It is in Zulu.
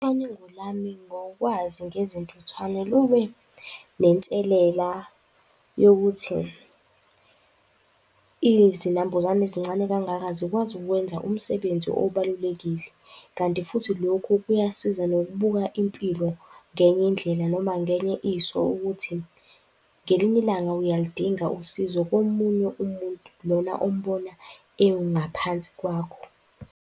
Ucwaningo lami ngokwazi ngezintuthwane lube nenselela yokuthi izinambuzane ezincane kangaka zikwazi ukwenza umsebenzi obalulekile. Kanti futhi lokhu kuyasiza nokubuka impilo ngenye indlela noma ngenye iso ukuthi ngelinye ilanga uyaludinga usizo komunye umuntu, lona ombona ewungaphansi kwakho.